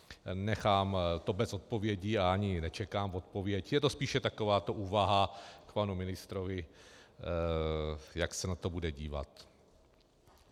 Nechám to bez odpovědi a ani nečekám odpověď, je to spíše takováto úvaha k panu ministrovi, jak se na to bude dívat.